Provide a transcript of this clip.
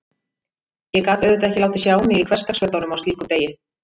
Ég gat auðvitað ekki látið sjá mig í hversdagsfötunum á slíkum degi.